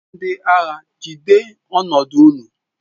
Ndị agha, jide ọnọdụ ụnụ!